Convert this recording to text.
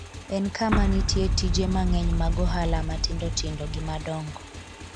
en kama nitie tije mang’eny mag ohala matindotindo gi madongo,